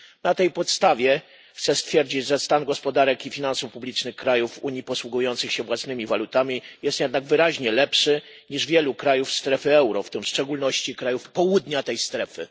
Na tej podstawie chcę stwierdzić, że stan gospodarek i finansów publicznych krajów Unii posługujących się własnymi walutami jest jednak wyraźnie lepszy niż wielu krajów strefy euro, w szczególności krajów południa tej strefy.